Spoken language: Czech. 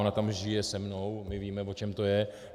Ona tam žije se mnou, my víme, o čem to je.